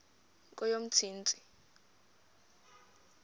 kweyomntsintsi